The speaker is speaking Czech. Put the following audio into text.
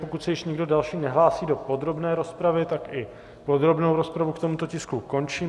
Pokud se ještě někdo další nehlásí do podrobné rozpravy, tak i podrobnou rozpravu k tomuto tisku končím.